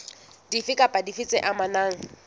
dife kapa dife tse amanang